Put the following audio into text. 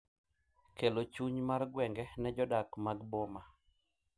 Kelo chuny mar gwenge ne jodak mag boma.